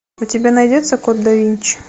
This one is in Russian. у тебя найдется код да винчи